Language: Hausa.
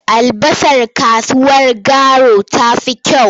Albasar kasuwar Garu ta fi kyau.